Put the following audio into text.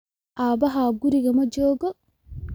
Aabbahaa guriga ma joogo?